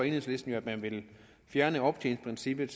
enhedslisten jo at fjerne optjeningsprincippet